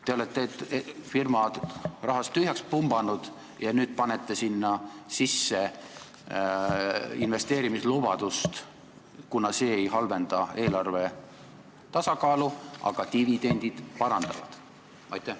Te olete firma rahast tühjaks pumbanud ja nüüd teete selle investeerimislubaduse, kuna see ei halvenda eelarve tasakaalu, aga dividend parandab seda.